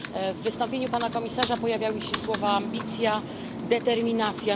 W wystąpieniu pana komisarza pojawiały się słowa ambicja, determinacja.